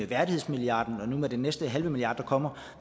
værdighedsmilliarden og med den næste halve milliard der kommer